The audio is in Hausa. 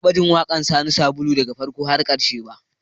Ban taɓa jin waƙar Sani Sabulu daga farko har ƙarshe ba